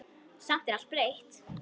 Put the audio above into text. Samt er allt breytt.